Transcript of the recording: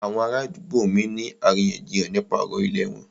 Àwọn ará àdúgbò mí ń ní àríyànjiyàn nípa ọ̀rọ̀ ìlẹ̀ wọn.